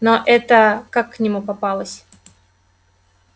но эта как к нему попалась